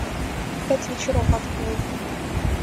пять вечеров открой